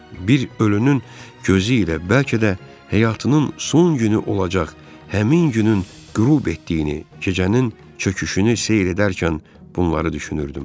Bir ölünün gözü ilə bəlkə də həyatının son günü olacaq həmin günün qürub etdiyini, gecənin çöküşünü seyr edərkən bunları düşünürdüm.